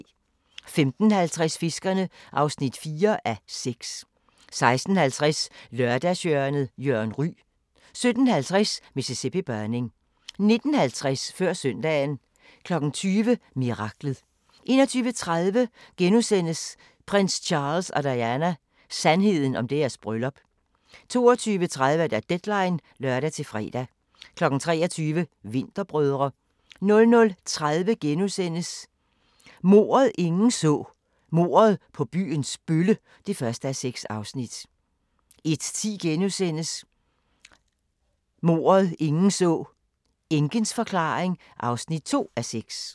15:50: Fiskerne (4:6) 16:50: Lørdagshjørnet – Jørgen Ryg 17:50: Mississippi Burning 19:50: Før søndagen 20:00: Miraklet 21:30: Prins Charles og Diana: Sandheden om deres bryllup * 22:30: Deadline (lør-fre) 23:00: Vinterbrødre 00:30: Mordet, ingen så: Mordet på byens bølle (1:6)* 01:10: Mordet, ingen så: Enkens forklaring (2:6)*